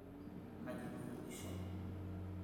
kaji duo ishomo?